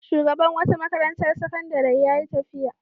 Shugaban wata makarantar sakandare ya yi tafiya.